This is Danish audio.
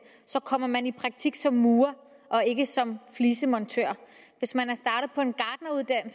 kommer man i praktik som murer og ikke som flisemontør og hvis man